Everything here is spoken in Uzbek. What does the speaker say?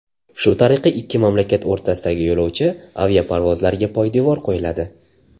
Shu tariqa ikki mamlakat o‘rtasidagi yo‘lovchi aviaparvozlariga poydevor qo‘yiladi.